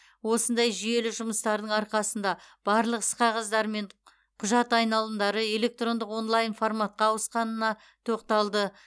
осындай жүйелі жұмыстардың арқасында барлық іс қағаздар мен құжат айналымдары электрондық онлайн форматқа ауысқанына тоқталды